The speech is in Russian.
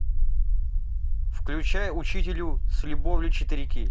включай учителю с любовью четыре кей